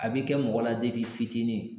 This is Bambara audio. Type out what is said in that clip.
A bi kɛ mɔgɔ la i fitinin.